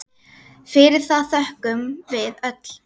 Fyrir það þökkum við öll.